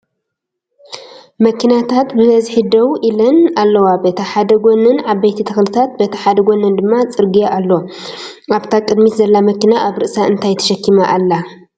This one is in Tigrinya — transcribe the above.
መኪናታት ብበዝሒ ደው ኢለን ኣለዋ በቲ ሓደ ጎነን ዓበይቲ ተክልታት በቲ ሓደ ጎነን ድማ ፅርግያ ኣሎ። ኣብታ ቅዲሚት ዘላ መኪና ኣብ ርእሳ እንታይ ተሸኪማ ኣላ?